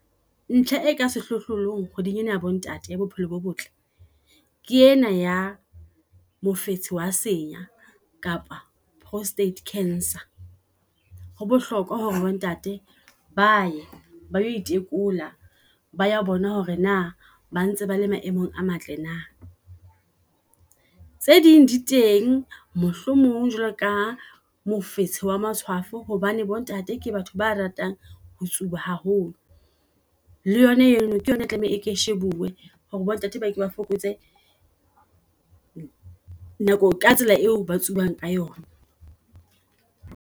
Ntlha e ka sehlohlolong kgweding ena ya bo ntate ya bophelo bo botle ke ena ya mofetsi wa senya kapa prostate cancer. Ho bohlokwa hore bo ntate baye ba yo itekola, ba ya bona hore na bantse bale maemong a matle na. Tse ding di teng, mohlomong jwalo ka mofetsi wa matshwafo hobane bo ntate ke batho ba ratang ho tsuba haholo. Le yona eno ke yona e tlameha e shebuwe, hore bo ntate bake ba fokotse nako ka tsela eo ba tsubang ka yona.